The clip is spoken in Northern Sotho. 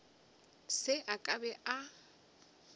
se ke a be a